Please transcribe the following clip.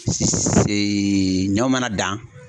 ɲɔ mana dan.